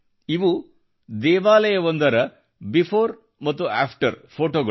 ಇವು ದೇವಾಲಯವೊಂದರ ಬಿಫೋರ್ ಮತ್ತು ಆಫ್ಟರ್ ಫೊಟೋಗಳು